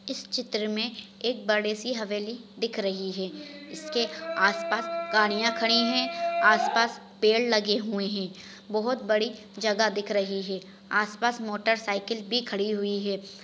इस चित्र में एक बड़ीसी हवेली दिख रही है इसके आस पास गाड़िया खड़ी है आस पास पेड़ लगे हुए है बहोत बड़ी जगह दिख रही है आस पास मोटर सायकल भी खड़ी हुई है।